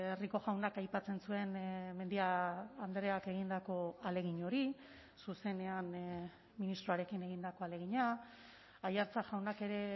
rico jaunak aipatzen zuen mendia andreak egindako ahalegin hori zuzenean ministroarekin egindako ahalegina aiartza jaunak ere